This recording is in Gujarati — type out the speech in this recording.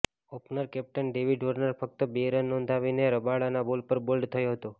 ઓપનર કેપ્ટન ડેવિડ વોર્નર ફક્ત બે રન નોંધાવીને રબાડાના બોલ પર બોલ્ડ થયો હતો